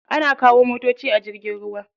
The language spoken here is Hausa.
Ana kawo motoci a jirgin ruwa.